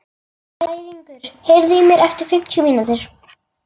Bæringur, heyrðu í mér eftir fimmtíu mínútur.